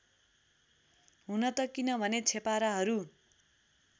हुनत किनभने छेपाराहरू